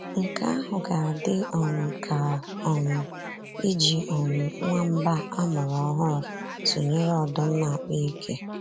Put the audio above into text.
Nke ahụ ga-adị um ka um iji um nwamba a mụrụ ọhụrụ tụnyere ọdụm na-akpa ike.